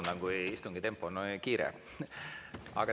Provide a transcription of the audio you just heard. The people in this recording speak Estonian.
Vabandan, kui istungi tempo on kiire.